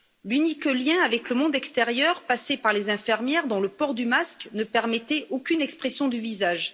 L'unique lien avec le monde extérieur passait par les infirmières, dont le port du masque ne permettait aucune expression du visage.